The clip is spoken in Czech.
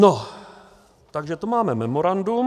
No, takže to máme memorandum.